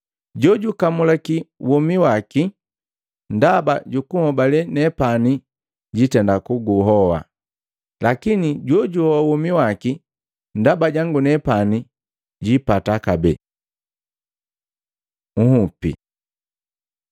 Jojukamulaki womi waki ndaba jukunhobale nepani jitenda kuguhoa, lakini jojuhoa womi waki ndaba jangu nepani, jiipata kabee. Nhupi Maluko 9:41